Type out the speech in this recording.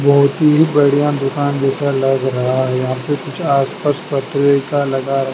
बहोत ही बढ़िया दुकान जैसा लग रहा है यहां पे कुछ आस पास पत्रिका लगा--